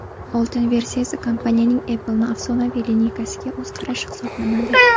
Oltin versiyasi kompaniyaning Apple’ni afsonaviy lineykasiga o‘z qarashi hisoblanadi.